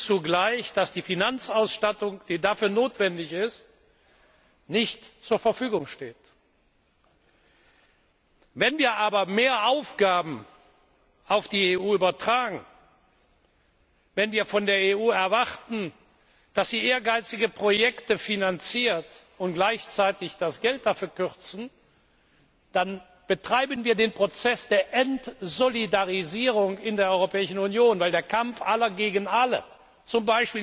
Zugleich erleben wir, dass die dafür notwendige Finanzausstattung nicht zur Verfügung steht. Wenn wir aber mehr Aufgaben auf die EU übertragen, wenn wir von der EU erwarten, dass sie ehrgeizige Projekte finanziert, und wir gleichzeitig das Geld dafür kürzen, dann betreiben wir den Prozess der Entsolidarisierung in der Europäischen Union, weil der Kampf aller gegen alle